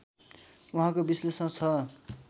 उहाँको विश्लेषण छ